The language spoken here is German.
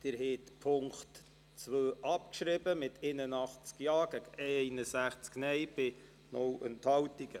Sie haben den Punkt 2 abgeschrieben mit 81 Ja- zu 61 Nein-Stimmen bei keiner Enthaltung.